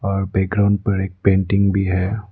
और बैकग्राउंड पर एक पेंटिंग भी है।